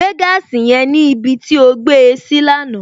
Gbé gaasi yẹn níbi tí ó gbé e sí lánàá!